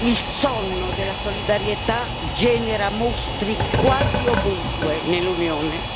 Il sonno della solidarietà genera mostri quasi ovunque nell'Unione.